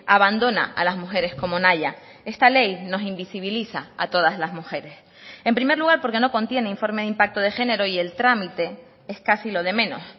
abandona a las mujeres como nahia esta ley nos invisibiliza a todas las mujeres en primer lugar porque no contiene informe de impacto de género y el trámite es casi lo de menos